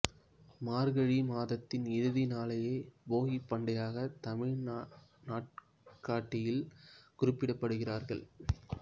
மார்கழி மாதத்தின் இறுதி நாளையே போகிப் பண்டிகையாக தமிழ் நாட்காட்டியில் குறிப்பிடுகிறார்கள்